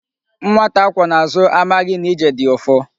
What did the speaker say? Nwata a kwọ n'azụ amaghị na ije dị ụfụ.